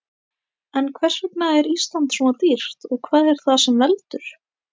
En hvers vegna er Ísland svona dýrt og hvað er það sem veldur?